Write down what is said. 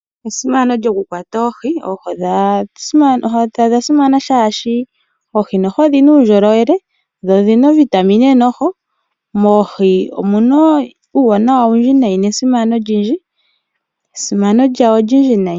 Esimano lyokukwata oohi, oohi odha simana oshoka oohi odhi na uundjolowele nodhi na ovitamine. Moohi omu na uuwanawa owundji nesimano olindji.